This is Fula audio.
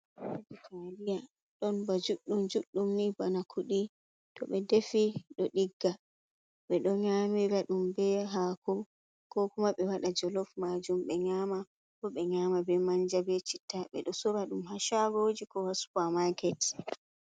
"Taliya"ɗon ba juɗɗum juɗɗum ni bana kuɗi to ɓe defi ɗo digga ɓeɗo ɗo nyamira ɗum ɓe hako ko kuma ɓe waɗa jolof majum ɓe nyama ko ɓe nyama be manja be citta ɓeɗo sora ɗum ha shagoji ko supamaket.